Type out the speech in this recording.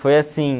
Foi assim...